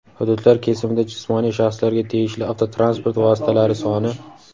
Hududlar kesimida jismoniy shaxslarga tegishli avtotransport vositalari soni:.